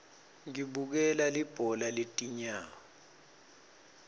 ngibukela libhola letinyawo